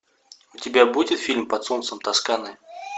у тебя будет фильм под солнцем тосканы